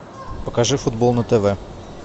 покажи футбол на тв